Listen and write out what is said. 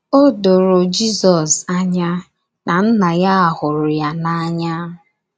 O doro Jizọs anya na Nna ya hụrụ ya n’anya.